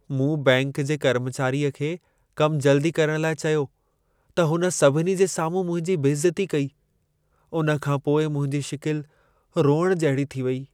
मूं बैंक जे कर्मचारीअ खे कम जल्दी करणु लाइ चयो, त हुन सभिनी जे साम्हूं मुंहिंजी बेइज़ती कई। उन खां पोइ मुंहिंजी शिकिलि रोइणु जहिड़ी थी वेई।